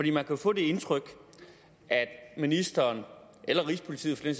jo få det indtryk at ministeren eller rigspolitiet for den